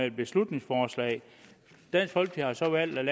et beslutningsforslag dansk folkeparti har valgt at